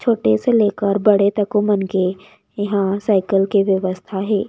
छोटे से लेकर बड़े तको मन के इहां साइकिल के व्यवस्था हे।